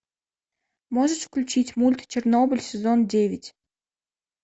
можешь включить мульт чернобыль сезон девять